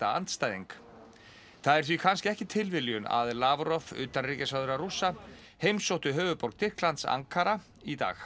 andstæðing það er því kannski ekki tilviljun að utanríkisráðherra Rússa heimsótti höfuðborgina Ankara í dag